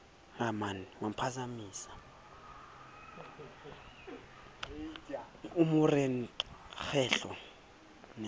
mo re qa kgetlo la